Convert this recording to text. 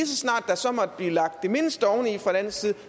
så snart der så måtte blive lagt det mindste oveni fra dansk side